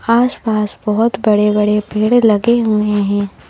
आस पास बहोत बड़े बड़े पेड़ लगे हुए हैं।